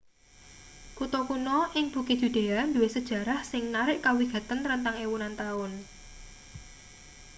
kutha kuno ing bukit yudea duwe sejarah sing narik kawigaten rentang ewunan taun